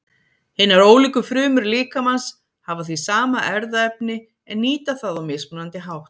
Hinar ólíku frumur líkamans hafa því sama erfðaefni en nýta það á mismunandi hátt.